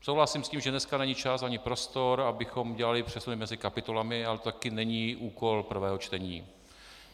Souhlasím s tím, že dneska není čas ani prostor, abychom dělali přesuny mezi kapitolami, ale to také není úkol prvého čtení.